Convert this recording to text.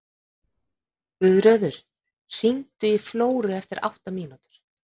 Guðröður, hringdu í Flóru eftir átta mínútur.